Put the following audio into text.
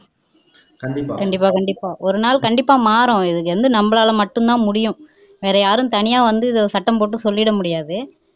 கண்டிப்பா கண்டிப்பா ஒரு நாள் கண்டிப்பா மாறும் இது நம்மனால மட்டும்தான் முடியும் வேற யாரும் தனியா வந்து சட்டம் போட்டு சொல்லிட முடியாது